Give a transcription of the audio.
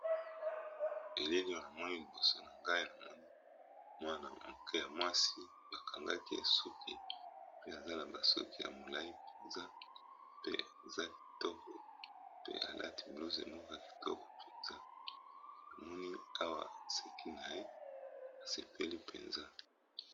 Elele oyo namoni liboso na ngai namoni mwana moke ya mwasi bakangaki ye suki, pe aza nabasoki ya molai mpenza pe eza kitoko, pe alati blouse emoka kitoko mpenza namoni awa aseki na ye asepeli mpenza.